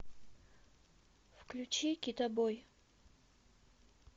включи китобой